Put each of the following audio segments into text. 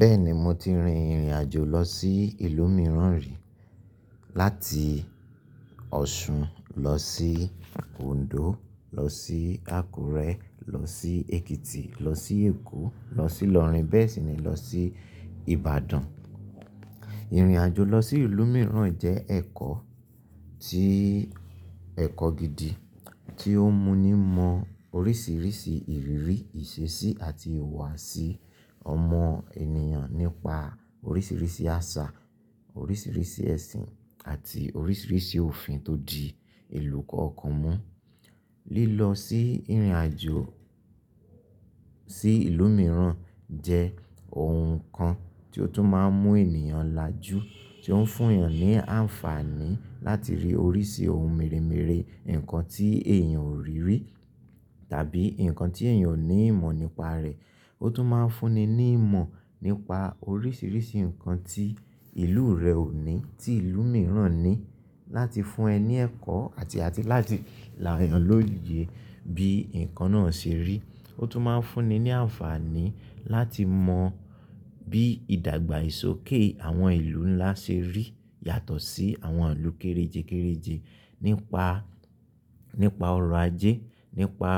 Bẹ́ẹ̀ni mo ti rin ìrìn àjò lọ sí ìlú mìíràn rí. Láti Ọ̀ṣun lọ sí Òndó lọ sí Àkúrẹ́ lọ sí Èkìtì lọ sí Èkó lọ sí Ìlọrin bẹ́ẹ̀ sì ni lọ sí Ìbàdàn. Ìrìn àjò lọ sí ìlú mìíràn jẹ́ ẹ̀kọ́ ti ẹ̀kọ́ gidi tí ó mú ni mọ oríṣiríṣi ìrírí, ìṣesí àti ìhùwàsí ọmọ ènìyàn nípa oríṣiríṣi àṣà, oríṣiríṣi ẹ̀sìn àti oríṣiríṣi òfin tó di ìlú kọ̀ọ̀kan mú. Lílọ sí ìrìn àjò Tí ìlú mìíràn jẹ́ ohun kan tí ó tún máa ń mú ènìyàn lajú, tí ó ń fún ènìyàn ní àǹfààní láti rí oríṣi ohun mèremère, ǹkan tí èèyàn ò rí rí tàbí ǹkan tí èèyàn ò ní ìmọ̀ nípa rẹ̀. Ó tún máa ń fún ni ní ìmọ̀ nípa oríṣiríṣi ǹkan tí ìlú rẹ̀ ò ní tí ìlú mìíràn ní láti fún ẹ ní ẹ̀kọ́ àti àti láti làyàn lóye bí ǹkan náà ṣe rí. Ó tún máa ń fún ni ní àǹfààní láti mọ bí ìdàgbà ìsòké àwọn ìlú ńlá ṣe rí yàtọ̀ sí àwọn ìlú kérejé kereje nípa, nípa ọrọ̀ ajé, nípa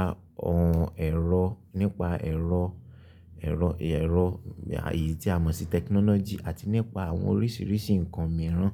ọ̀ràn ẹ̀rọ, nípa ẹ̀rọ, ẹ̀rọ, ẹ̀rọ, ààyè tí a mọ̀ sí technology àti nípa àwọn oríṣiríṣi ǹkan mìíràn.